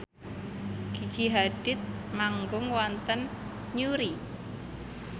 Gigi Hadid manggung wonten Newry